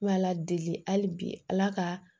Ala deli hali bi ala ka